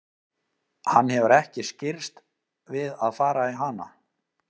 Hann hefur ekki skirrst við að fara í hana.